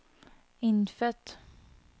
innfødt